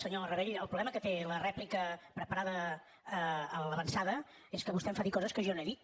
senyor rabell el problema que té la rèplica preparada a l’avançada és que vostè em fa dir coses que jo no he dit